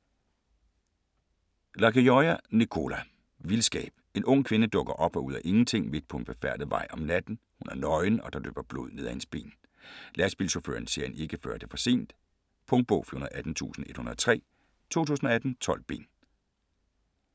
Lagioia, Nicola: Vildskab En ung kvinde dukker op ud af ingenting midt på en befærdet vej om natten. Hun er nøgen og der løber blod ned af hendes ben. Lastbilchaufføren ser hende ikke før det er for sent. Punktbog 418103 2018. 12 bind.